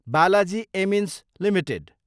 Balaji amines Ltd